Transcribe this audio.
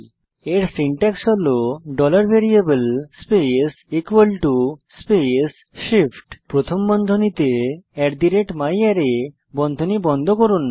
এর সিনট্যাক্স হল variable space space shift প্রথম বন্ধনীতে myArray বন্ধনী বন্ধ করুন